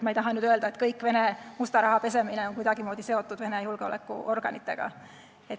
Ma ei taha öelda, et kogu Vene musta raha pesemine on kuidagimoodi seotud Vene julgeolekuorganitega.